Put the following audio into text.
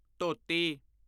ਧੋਤੀ